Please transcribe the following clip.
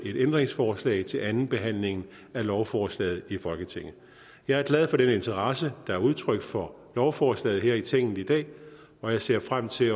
et ændringsforslag til andenbehandlingen af lovforslaget i folketinget jeg er glad for den interesse der er udtrykt for lovforslaget her i tinget i dag og jeg ser frem til